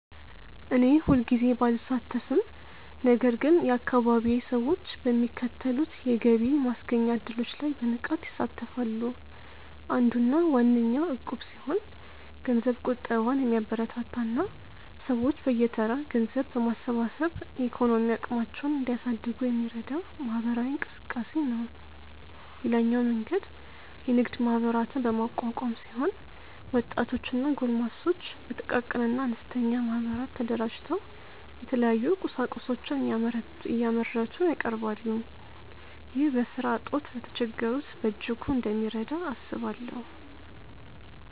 እኔ ሁልጊዜ ባልሳተፍም ነገር ግን የአካባቢዬ ሰዎች በሚከተሉት የገቢ ማስገኛ እድሎች ላይ በንቃት ይሳተፋሉ። አንዱና ዋነኛው እቁብ ሲሆን ገንዘብ ቁጠባን የሚያበረታታ እና ሰዎች በየተራ ገንዘብ በማሰባሰብ የኢኮኖሚ አቅማቸውን እንዲያሳድጉ የሚረዳ ማህበራዊ እንቅስቃሴ ነው። ሌላኛው መንገድ የንግድ ማህበራትን በማቋቋም ሲሆን ወጣቶች እና ጎልማሶች በጥቃቅንና አነስተኛ ማህበራት ተደራጅተው የተለያዩ ቁሳቁሶችን እያመረቱ ያቀርባሉ። ይህ በስራ እጦት ለተቸገሩት በእጅጉ እንደሚረዳ አስባለሁ።